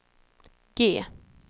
G